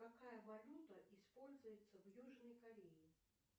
какая валюта используется в южной корее